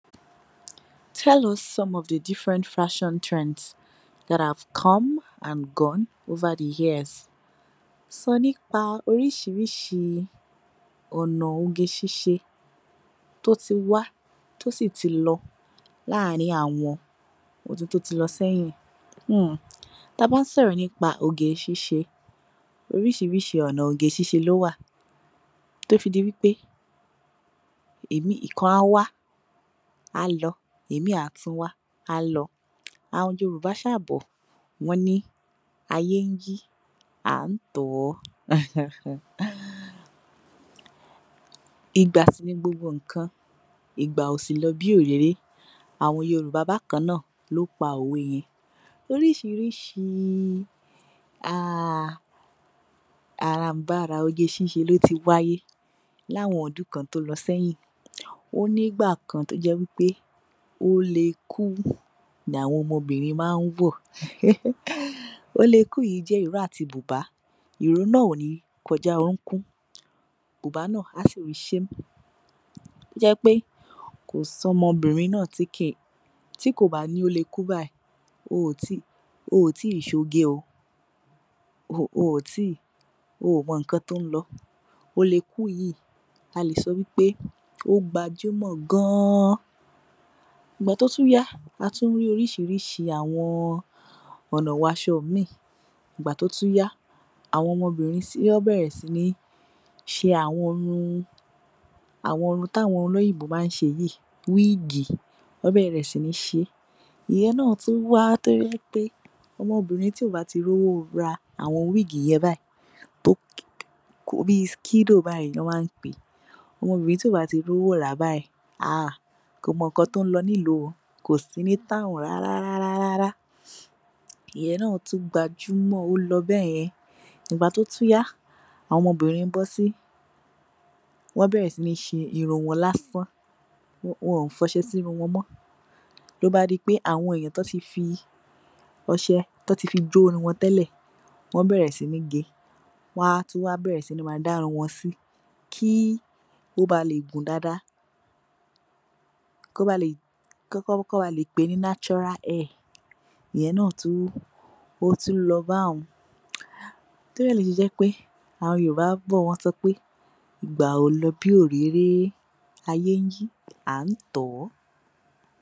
(Tell us some of the different fashion trends that have come and gone over the years?) Sọ nípa orísiirísi ọ̀nà oge ṣíṣe tó ti wá tó sì ti lọ láàrìn àwọn ọdún tó ti lọ sẹ́yìn. hmm Tá a bá ń sọ̀rọ̀ nípa oge ṣíṣe, oríṣiiríṣi ọ̀nà oge ṣíṣe ló wà, tó fi di wí pé ìkan á wá, á lọ, imi á tún wá, á lọ. Àwọn Yorùbá ṣáà bọ̀, wọ́n ní ayé ń yí, a ń tọ̀ ọ́. aha Ìgbà sì ni gbogbo nǹkan, igba o si lọ bí orére, àwọn Yorùbá bákan náà ló pa òwe yẹn. Oríṣiiriṣi ahh àràǹbarà oge sise ló ti wáyé l’áwọn ọdún kan tó lọ sẹ́yìn. Ó nígbà kan tó jẹ́ wí pé ólekú l’àwọn ọmọbìnrin má ń wọ̀. ehhh Ólekú yìí jẹ́ ìró àti bùbá, ìró náà ò ní kọjá orúnkún, bùbá náà á? tó jẹ́ pé ko sí ọmọbìnrin náà tí kò bá ní ólekú bayìí, oò tíì ṣoge o. Oò tíì, oò mọ nǹkan tó ń lọ. Ólekú yìí a lè sọ pé ó gbajúmọ̀ gan-an. Ìgbà tó tún yá, a tún ní oríṣiiríṣi àwọn ọ̀nà ’wọ aṣọ míì. Ìgbà tó tuń yá, àwọn ọmọbìnrin wọ́n bẹ̀rẹ̀ sí ní ṣe àwọn irun…àwọn irun t’àwọn olóyìnbó má ń ṣe yìí, wíìgì. Wọ́n bẹ̀rẹ̀ sí ní ṣe é.. Ìyẹn náa tún wà, tó jẹ́ pé ọmọbìnrin tí ò bá tíì rówó ra àwọn wíìgì yẹn bayìí, bíi (skido) bayìí ni wọ́n má ń pe é, ọmọ obìnrin tí ò bá tíì rówó rà a, kò mọ ǹkan tó ń lọ ní ilú, kò sí ní (town) rárá-rárá- rárá. Ìyẹn náa tún gbajúmọ̀, ó lọ bẹ́yẹn. Ìgbà tó tún yá, àwọn obìnrin bọ́ sí, wọ́n bẹ̀rẹ̀ sí ní ṣe irun wọn lásán. Wọn ò f’ọṣẹ sí irun wọn mọ́. Ló bá di pé àwọn ènìyàn tán ti fi ọṣẹ jó irun wọn tẹ́lẹ̀, wọ́n bẹ̀rẹ̀ sí ní gé e. Wọ́n á tún bẹ̀rẹ̀ sí ní dá irun wọn sí kí ó báa le gùn dáadáa, kí wọ́n báa lè pè é ní (natural hair). Ìyẹn náà tún, ó tún lọ báun. Torí ẹ̀ ló ṣe jẹ́ pé àwọn Yorùbá bọ̀ wọ́n sọ pé ìgbà ò lọ bí òréré, ayé ń yí, à ń tọ̀ ọ́.